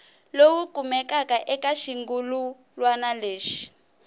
lowu kumekaka eka xirungulwana lexi